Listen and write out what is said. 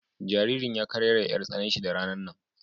Jaririn ya kararayya 'yar tsananshi da ranan nan.